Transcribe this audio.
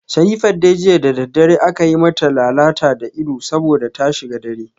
Sherifat dai jiya da daddare aka yi mata lalata da ita saboda ta shiga dare